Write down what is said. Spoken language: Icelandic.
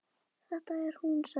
Þetta er hún sagði hann.